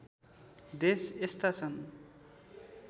देश यस्ता छन्